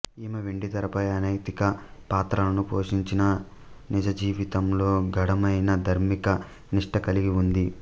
ఈమె వెండితెరపై అనైతిక పాత్రలను పోషించినా నిజజీవితంలో గాఢమైన ధార్మిక నిష్ట కలిగి ఉంది